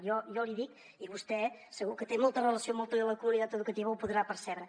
jo l’hi dic i vostè segur que té molta relació amb tota la comunitat educativa ho podrà percebre